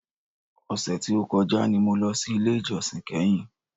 Ọ̀sẹ̀ tí o kọjá ni mo lọ sí ilé ìjósìn kẹ́hìn.